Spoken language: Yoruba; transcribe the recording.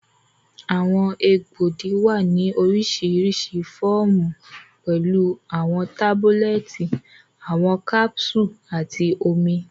Awọn egboogi wa ni orisirisi awọn fọọmu, pẹlu awọn tabulẹti, awọn capsules, ati omi.